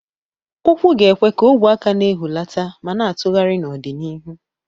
Ụkwụ ga-ekwe ka ogwe aka na-ehulata ma na-atụgharị n'ọdịnihu.